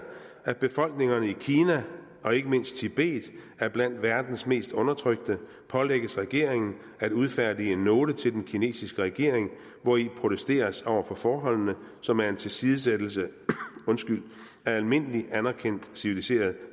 at befolkningerne i kina og ikke mindst tibet er blandt verdens mest undertrykte pålægges regeringen at udfærdige en note til den kinesiske regering hvori protesteres over for forholdene som er en tilsidesættelse af almindelig anerkendt civiliseret